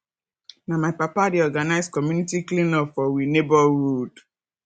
na my papa dey organise community cleanup for we neborhood